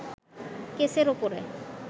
কেসের ওপরে